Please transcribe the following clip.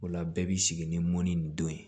O la bɛɛ b'i sigi ni mɔni ni don ye